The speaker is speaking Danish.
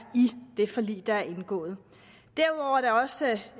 i det forlig der er indgået derudover er der også